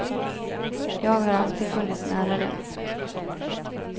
Jag har alltid funnits nära dem.